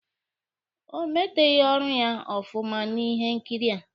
O meteghi ọrụ ya ọfụma na ihe nkiri a.